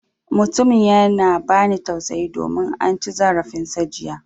Mutumin yana ba ni tausayi domin an ci zarafin sa jiya.